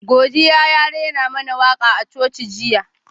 Godiya ya rera mana waka a Coci jiya.